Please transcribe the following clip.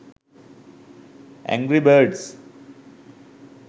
angry birds